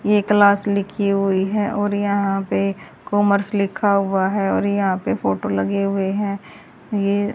ये क्लास लिखी हुई है और यहां पे कॉमर्स लिखा हुआ है और यहां पे फोटो लगे हुए हैं ये--